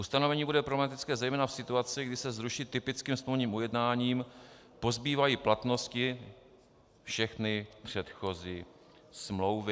Ustanovení bude problematické zejména v situaci, kdy se zruší typickým smluvním ujednáním, pozbývají platnosti všechny předchozí smlouvy.